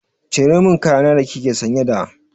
Cire min kaya na da kike sanye da!